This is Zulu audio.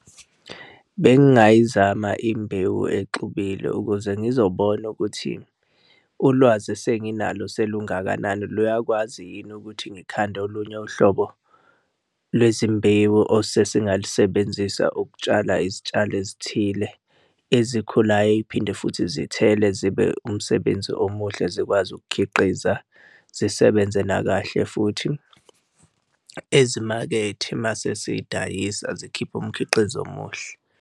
Bengingayizama imbewu exubile ukuze ngizobona ukuthi ulwazi esenginalo selungakanani luyakwazi yini ukuthi ngikhande olunye uhlobo lwezimbewu osesengalusebenzisa ukutshala izitshalo ezithile ezikhulayo ey'phinde futhi zithele zibe umsebenzi omuhle, zikwazi ukukhiqiza zisebenze nakahle futhi ezimakethe uma sesiy'dayisa zikhipha umkhiqizo omuhle.